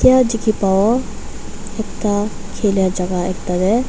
yae dikhipawo ekta khilia jaka ekta tae.